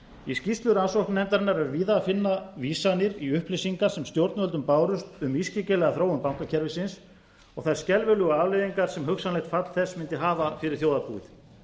í skýrslu rannsóknarnefndarinnar er víða að finna vísanir í upplýsingar sem stjórnvöldum bárust um ískyggilega þróun bankakerfisins og þær skelfilegu afleiðingar sem hugsanlegt fall þess mundi hafa fyrir þjóðarbúið